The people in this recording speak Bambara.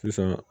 Sisan